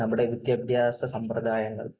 നമ്മുടെ വിദ്യാഭ്യാസ സമ്പ്രദായങ്ങൾ